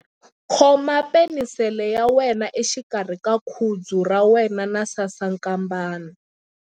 Khoma penisele ya wena exikarhi ka khudzu ra wena na sasankambana.